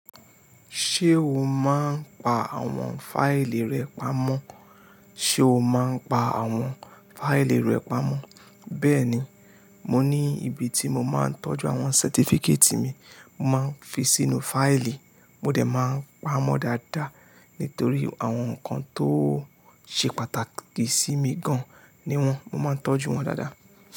Ṣé o máa ń pa àwọn fáìlì rẹ pamọ́? Ṣé o máa ń pa àwọn fáìlì rẹ pamọ́? Bẹ́ẹ̀ni, mo ní ibi tí mo máa ń tọ́jú àwọn certificate mi, mo máa ń fi sínú fáìlì, mo dẹ̀ máa ń pamọ́ dáadáa. Nítorí àwọn nǹkan tó ṣe pàtàkì sí mi gan-an ni wọ́n, mo máa ń tọ́jú wọ́n dáadáa.